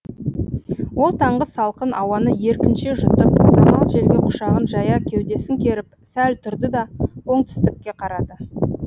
ол таңғы салқын ауаны еркінше жұтып самал желге құшағын жая кеудесін керіп сәл тұрды да оңтүстікке қарады